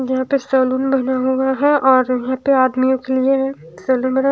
यहां पे सैलून बना हुआ है और यहां पे आदमियों के लिए सैलून बना--